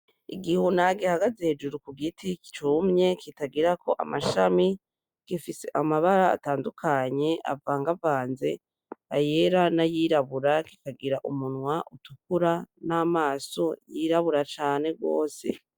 Igihuna gihagaze hejuru ku giti cumye kitagirako amashami, gifise amabara atandukanye avangavanze ayera n'ayirabura kikagira umunwa utukura n'amaso yirabura cane gose.